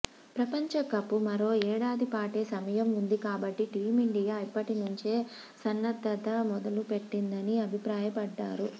ప్రపంచకప్కు మరో ఏడాదిపాటే సమయం ఉంది కాబట్టి టీమిండియా ఇప్పటి నుంచే సన్నద్ధత మొదలుపెట్టిందని అభిప్రాయపడ్డారు